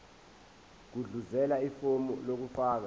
gudluzela ifomu lokufaka